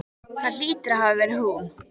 Það hlýtur að hafa verið hún.